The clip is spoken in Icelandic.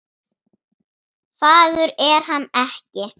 Fagur er hann ekki.